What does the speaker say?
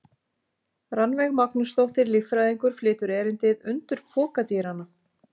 Rannveig Magnúsdóttir, líffræðingur, flytur erindið: Undur pokadýranna.